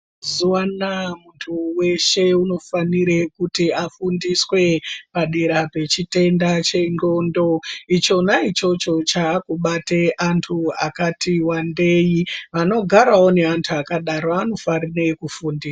Mazuvano muntu weshe unofane kuti afundiswe padera pechitenda chendxondo, ichona ichocho chaakubate antu akatiwandei, anogarawo neantu akadaro anofanire kufundiswa.